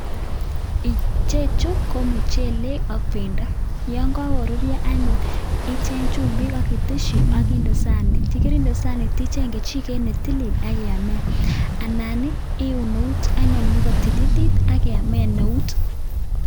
ichechu ko mchele ak beendo yonyakiruryo anyun icheng chumbik ak akitesyi ak inde saniit yakinde saniit icheng kichiket netilit akiamen anan iun eut anyun ak kotililit akiamen eut